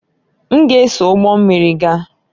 M ga-eso ụgbọ mmiri gaa